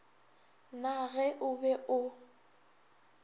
na ge o be o